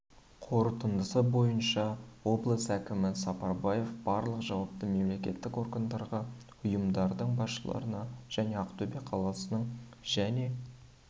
қорытындысы бойынша облыс әкімі сапарбаев барлық жауапты мемлекеттік органдарға ұйымдардың басшыларына және ақтөбе қаласының және